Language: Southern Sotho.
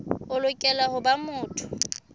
o lokela ho ba motho